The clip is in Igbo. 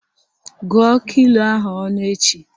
Gụọ kilo ahụ ọnụ echi!